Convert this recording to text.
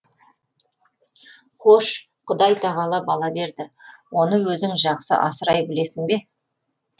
хош құдай тағала бала берді оны өзің жақсы асырай білесің бе